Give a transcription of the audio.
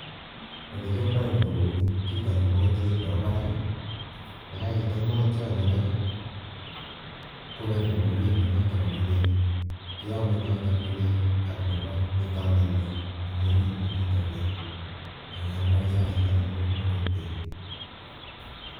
Olekiomndo nii ko kouni, kitonyi mokotiet nebo barak, yekokitiony mokotionitok kong'et nebo oriit nenoton ko nelel, keome notok nelel ak nebo netolelion nemii oriit nenitok leel, ak ko kiomndo chaik anan ko beei.